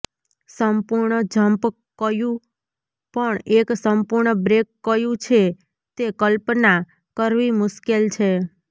સંપૂર્ણ jump cue પણ એક સંપૂર્ણ બ્રેક કયૂ છે તે કલ્પના કરવી મુશ્કેલ છે